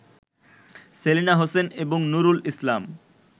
সেলিনা হোসেন এবং নূরুল ইসলাম